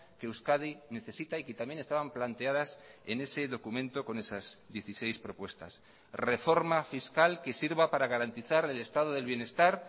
que euskadi necesita y que también estaban planteadas en ese documento con esas dieciséis propuestas reforma fiscal que sirva para garantizar el estado del bienestar